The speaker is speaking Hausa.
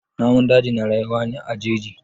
Namun daji na rayuwa ne a jeji.